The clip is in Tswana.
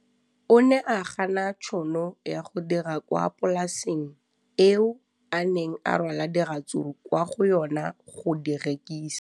O ne a gana tšhono ya go dira kwa polaseng eo a neng rwala diratsuru kwa go yona go di rekisa.